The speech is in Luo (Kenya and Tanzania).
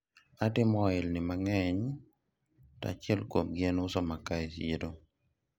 atimo ohalni mang'eny to achiel kuomgi en uso makaa e siro